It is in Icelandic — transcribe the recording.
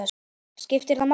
skiptir það máli?